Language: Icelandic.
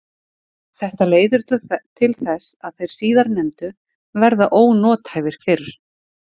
Þetta leiðir til þess að þeir síðarnefndu verða ónothæfir fyrr.